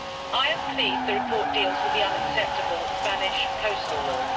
I am pleased that the report deals with the unacceptable Spanish coastal law.